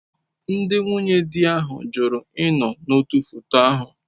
Ndị nwunye di ahụ jụrụ ịnọ n'otu foto ahụ.